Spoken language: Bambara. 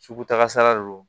Sugutakasara de don